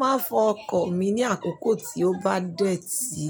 Máa fọ ọkọ̀ mi ní àkókò tí ó bá dẹ́ ti,